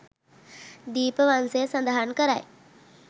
දීපවංසය සඳහන් කරයි.